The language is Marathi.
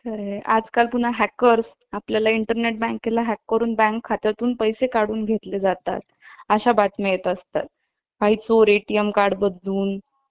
खरे आजकाल पुन्हा Hackers आपल्याला Internet बँकेला Hack करून Bank खात्यातून पैसे काढून घेतले जातात अशा बातम्या येत असतात काही चोर ATM Card बदलून